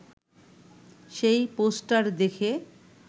সেই পোস্টার দেখে